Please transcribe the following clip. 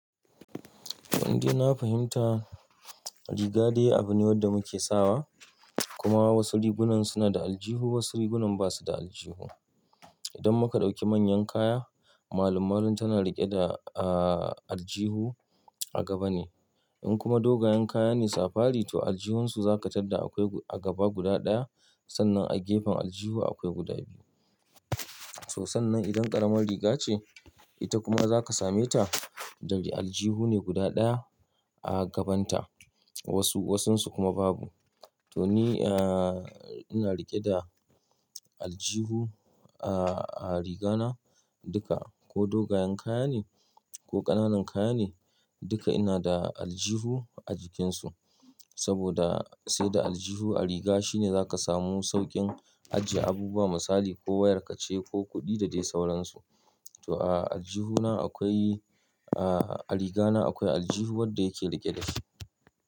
To indai na fahimta riga dai abune wanda muke sawa kuma wasu rigunan suna da aljihu wasu rigunan basu da aljihu. Idan muka ɗauki manyan kaya, malum-malum tana riƙe da, ah, aljihu a gaba ne. In kuma dogayen kaya ne safari to aljihunsu za ka tadda akwai a gaba guda ɗaya. Sannan a gefen aljihu akwai guda biyu. To, sannan idan ƙaramar riga ce, ita kuma za ka same ta, dari aljihu ne guda ɗaya a gabanta. Wasu-wasunsu kuma babu. To ni, ah, ina riƙe da aljihu a riga na duka ko dogayen kaya ne ko ƙananan kaya ne duka ina da aljihu a jikinsu. Saboda sai da aljihu a riga shine za ka samu saukin ajiye abubuwa misali ko wayar ka ce ko kuɗi da dai sauransu. To a aljihu na akwai, ah, a riga na akwai aljihu wanda yake riƙe da shi.